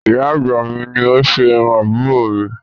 Ìyá àgbà mi ni ó ṣe irú àbúrò mi